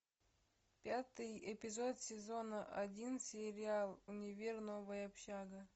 пятый эпизод сезона один сериал универ новая общага